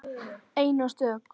Ein og stök.